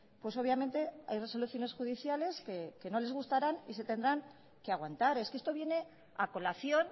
pues obviamente hay resoluciones judiciales que no les gustarán y se tendrán que aguantar es que esto viene a colación